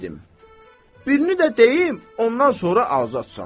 Birini də deyim, ondan sonra azadsan.